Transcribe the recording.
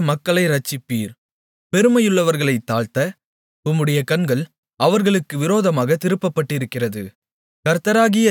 சிறுமைப்பட்ட மக்களை இரட்சிப்பீர் பெருமையுள்ளவர்களைத் தாழ்த்த உம்முடைய கண்கள் அவர்களுக்கு விரோதமாகத் திருப்பப்பட்டிருக்கிறது